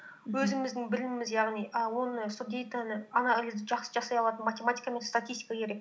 өзіміздің біліміміз яғни і оны сол дэйтаны анализды жақсы жасай алатын математика мен статистика керек